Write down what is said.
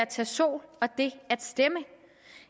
tage sol og at stemme